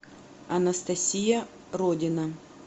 анастасия родина